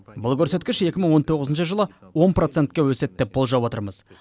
бұл көрсеткіш екі мың он тоғызыншы жылы он процентке өседі деп болжап отырмыз